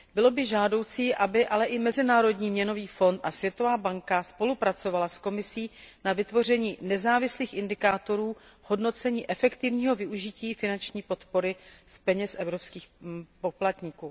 Bylo by žádoucí, aby ale i Mezinárodní měnový fond a Světová banka spolupracovaly s Komisí na vytvoření nezávislých indikátorů v hodnocení efektivního využití finanční podpory z peněz evropských poplatníků.